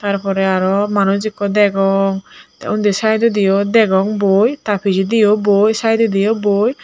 tar porey aro manuj ikko degong tey undi saidodiyo degong boi ta pijediyo boi saidodiyo boi.